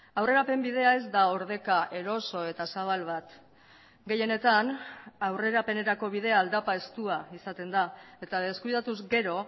aurrerapen bidea ez da ordeka eroso eta zabal bat gehienetan aurrerapenerako bidea aldapa estua izaten da eta deskuidatuz gero